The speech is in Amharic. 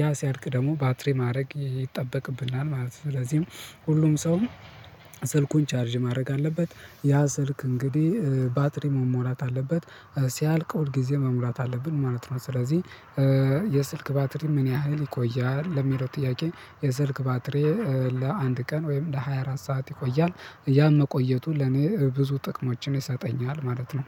ያ ሲያልቅ ደግሞ ባትሪ ማድረግ ይጠበቅብናል ማለት ነው። ስለዚህም ሁሉም ሰው ስልኩን ቻርጅ ማድረግ አለበት ያ ስልክ እንግዲህ ባትሪ መሞላት አለበት ሲያልቅ ሁልጊዜ መሙላት አለብን ማለት ነው። ስለዚህ የስልክ ባትሪ ምን ያህል ይቆያል ለሚለው ጥያቄ የስልክ ባትሪ ለአንድ ቀን ወይም ለሃያ አራት ሰዓት ይቆያል። ያም መቆየቱን ለኔ ብዙ ጥቅሞችን ይሰጠኛል ማለት ነው